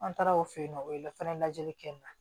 An taara o fe yen nɔ o ye la fɛnɛ lajɛli kɛ n na